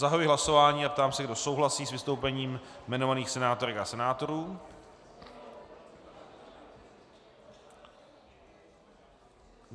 Zahajuji hlasování a ptám se, kdo souhlasí s vystoupením jmenovaných senátorek a senátorů.